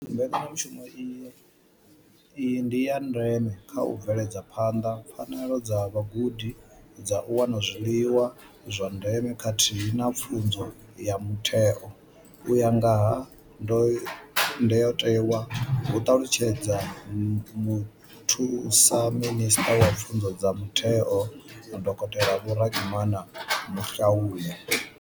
Mbekanyamushumo iyi ndi ya ndeme kha u bveledza phanḓa pfanelo dza vhagudi dza u wana zwiḽiwa zwa ndeme khathihi na pfunzo ya mutheo u ya nga ha ndayotewa, hu ṱalutshedza muthusa minisṱa wa pfunzo dza mutheo, Dokotela Vho Reginah Mhaule.